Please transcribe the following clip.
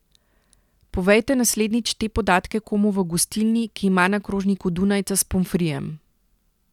Povejte naslednjič te podatke komu v gostilni, ki ima na krožniku dunajca s pomfrijem.